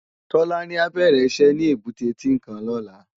Tolani á bèrè iṣè ni ébùté Tinkán lòlá